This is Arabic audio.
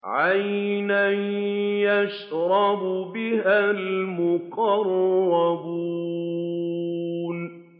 عَيْنًا يَشْرَبُ بِهَا الْمُقَرَّبُونَ